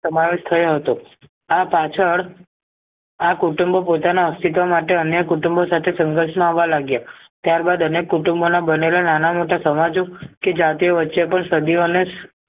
સમાવેશ થયો હતો આ પાછળ આ કુટુંબ પોતાના અસ્તિત્વ માટે અન્ય કુટુંબો સાથે સંઘર્ષમાં આવા લાગ્યા ત્યાર બાદ અનેક કુટુંબોના બનેલા નાના મોટા સમાજ કે જાતિઓ વચ્ચે પણ સદીઓને